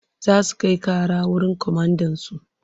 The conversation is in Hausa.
Za su kai ƙara wurin komandansu.